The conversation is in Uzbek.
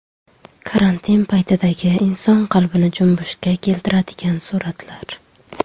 Karantin paytidagi inson qalbini junbushga keltiradigan suratlar .